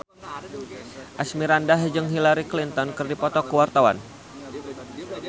Asmirandah jeung Hillary Clinton keur dipoto ku wartawan